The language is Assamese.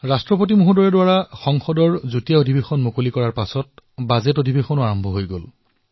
ৰাষ্ট্ৰপতি মহোদয়ৰ সংসদৰ সংযুক্ত অধিৱেশনৰ সম্বোধনৰ পিছত বাজেট অধিৱেশনো আৰম্ভ হল